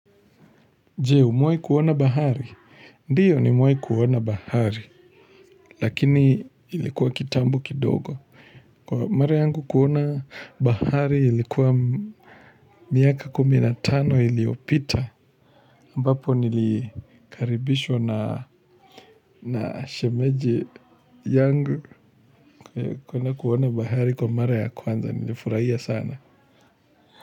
Jee, umewahi kuona bahari. Ndiyo nimewahi kuona bahari, lakini ilikuwa kitambu kidogo. Kwa mara yangu kuona bahari ilikuwa miaka kumi na tano iliopita. AMbapo nilikaribishwa na shemeji yangu kuona kuona bahari kwa mara ya kwanza. Nilifurahia sana.